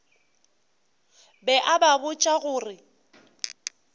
be a ba botša gore